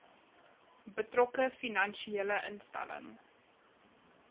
betrokke finansiële instelling